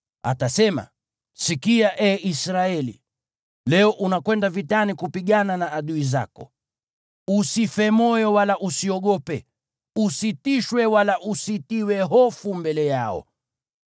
Atasema: “Sikia, ee Israeli, leo unakwenda vitani kupigana na adui zako. Usife moyo wala usiogope, usitishwe wala usitiwe hofu mbele yao.